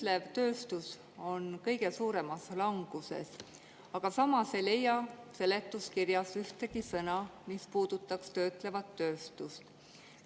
Töötlev tööstus on kõige suuremas languses, aga samas ei leia seletuskirjast ühtegi sõna, mis puudutaks töötlevat tööstust.